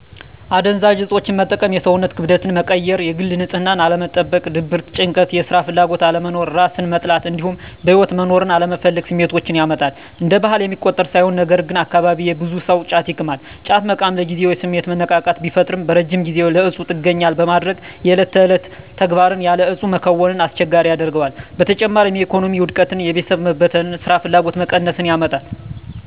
አደንዛዥ እፆችን መጠቀም የሰውነትን ክብደት መቀየር፣ የግል ንፅህናን አለመጠበቅ፣ ድብርት፣ ጭንቀት፣ የስራ ፍላጎት አለመኖር፣ እራስን መጥላት እንዲሁም በህይወት መኖርን አለመፈለግ ስሜቶችን ያመጣል። እንደ ባህል የሚቆጠር ሳይሆን ነገርግን አካባቢየ ብዙ ሰው ጫት ይቅማል። ጫት መቃም ለጊዜው የስሜት መነቃቃት ቢፈጥርም በረጅም ጊዜ ለእፁ ጥገኛ በማድረግ የዕለት ተግባርን ያለ እፁ መከወንን አስቸጋሪ ያደርገዋል። በተጨማሪም የኢኮኖሚ ውድቀትን፣ የቤተሰብ መበተን፣ ስራፍላጎት መቀነስን ያመጣል።